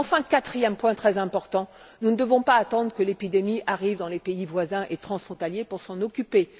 Enfin, quatrième point très important nous ne devons pas attendre que l'épidémie arrive dans les pays voisins et transfrontaliers pour nous en occuper.